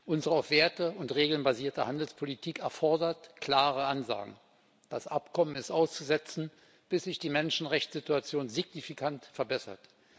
Unsere auf Werte und Regeln basierte Handelspolitik erfordert klare Ansagen Das Abkommen ist auszusetzen, bis sich die Menschenrechtssituation signifikant verbessert.